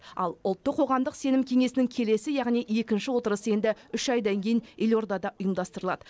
ал ұлттық қоғамдық сенім кеңесінің келесі яғни екінші отырысы енді үш айдан кейін елордада ұйымдастырылады